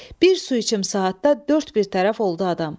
Bir su içim saatda dörd bir tərəf oldu adam.